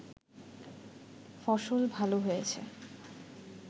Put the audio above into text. ফসল ভাল হয়েছে